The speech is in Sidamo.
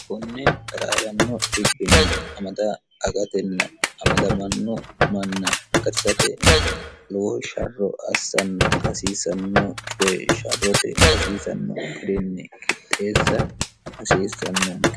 kunne garaawanno dbbinmd gatn amadamanno manna garsate loo sharro assanna hasiisanno cowe sharrote hasiisanno hirinni kitteessa hasiissannoonni